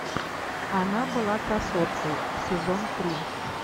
она была красоткой сезон три